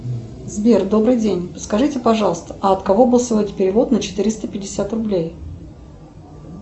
сбер добрый день подскажите пожалуйста а от кого был сегодня перевод на четыреста пятьдесят рублей